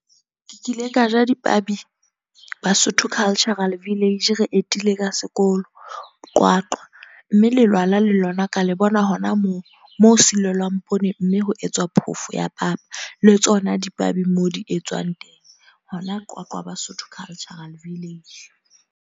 Ke kile ka ja dipabi. Basotho Cultural Village, re etile ka sekolo Qwaqwa. Mme lelwala le lona ka le bona hona moo. Moo ho silelwang poone, mme ho etswa phofo ya papa. Le tsona dipabi moo di etswang teng. Hona Qwaqwa, Basotho Cultural Village.